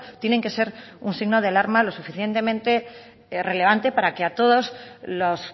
tienen que ser un signo de alarma lo suficientemente relevante para que a todos los